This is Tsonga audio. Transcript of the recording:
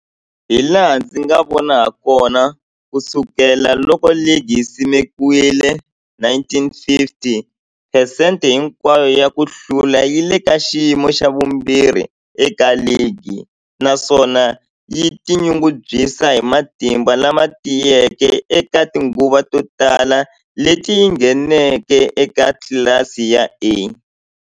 Hilaha ndzi nga vona hakona, ku sukela loko ligi yi simekiwile, 1950, phesente hinkwayo ya ku hlula yi le ka xiyimo xa vumbirhi eka ligi, naswona yi tinyungubyisa hi matimba lama tiyeke eka tinguva to tala leti yi ngheneke eka tlilasi ya A.